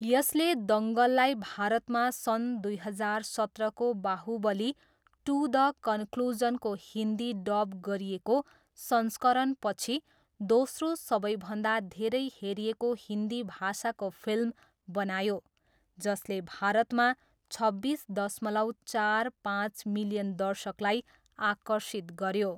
यसले दङ्गललाई भारतमा सन् दुई हजार सत्रको बाहुबली टू द कन्क्लुजनको हिन्दी डब गरिएको संस्करणपछि, दोस्रो सबैभन्दा धेरै हेरिएको हिन्दी भाषाको फिल्म बनायो, जसले भारतमा छब्बिस दशमलव चार पाँच मिलियन दर्शकलाई आकर्षित गऱ्यो।